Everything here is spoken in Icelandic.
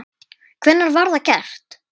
Hvenær var það gert?